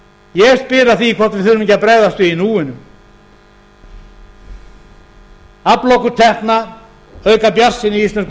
ég spyr að því hvort við þurfum ekki að bregðast við í núinu afla okkur tekna auka bjartsýni í íslensku